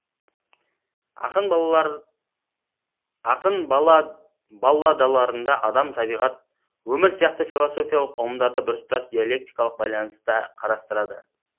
ақын балладаларында адам табиғат өмір сияқты философиялық ұғымдарды біртұтас диалектикалық байланыста қарастырады